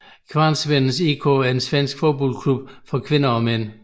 Kvarnsvedens IK er en svensk fodboldklub for kvinder og mænd